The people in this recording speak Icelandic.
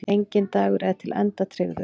Enginn dagur er til enda tryggður.